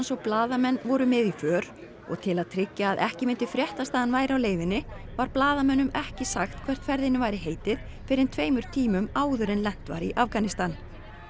og blaðamenn voru með í för og til að tryggja að ekki myndi fréttast að hann væri á leiðinni var blaðamönnum ekki sagt hvert ferðinni væri heitið fyrr en tveimur tímum áður en lent var í Afganistan